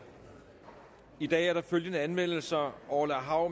i dag er der følgende anmeldelser orla hav